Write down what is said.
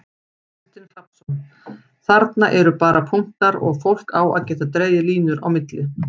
Kristinn Hrafnsson: Þarna eru bara punktar og fólk á að geta dregið línur á milli?